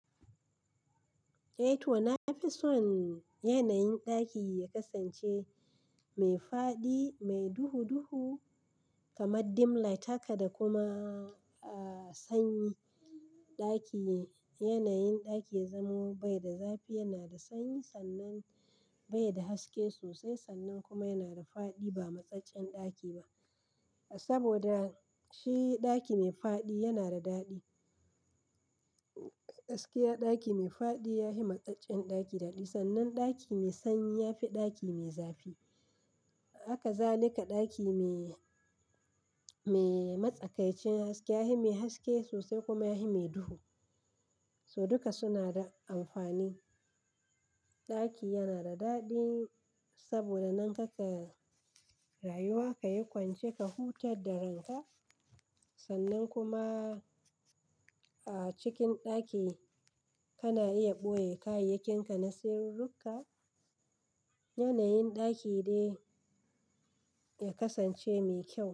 Eh to, na fi son yanayin ɗaki ya kasance mai faɗi mai duhu-duhu kamar dim light haka da kuma a sanyi. Ɗaki, yanayin ɗaki zamo bai da zafi yana da sanyi sannan bai da haske sosai sannan kuma yana da faɗi ba matsakain ɗaki ba. Saboda shi ɗaki mai faɗi yana da daɗi. Haske a ɗaki mai faɗi ya yi matsakain ɗaki daɗi sannan ɗaki mai sanyi ya fi ɗaki mai zafi. Haka zalika daki mai, mai matsakaicin haske ya yi mai haske sosai kuma ya yi mai duhu. Su duka suna da amfani. Ɗaki yana da daɗi saboda nan haka ka rayu ka yi kwance ka hutad da ranka sannan kuma a cikin ɗaki kana iya ɓoye kayayyakinka na sirri duka. Yanayin ɗaki dai ya kasance mai kyau.